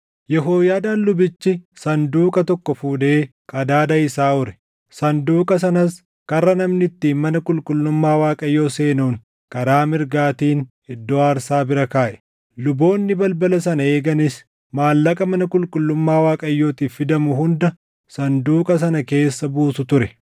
Yehooyaadaan lubichi sanduuqa tokko fuudhee qadaada isaa ure. Sanduuqa sanas karra namni ittiin mana qulqullummaa Waaqayyoo seenuun karaa mirgaatiin iddoo aarsaa bira kaaʼe. Luboonni balbala sana eeganis maallaqa mana qulqullummaa Waaqayyootiif fidamu hunda sanduuqa sana keessa buusu ture.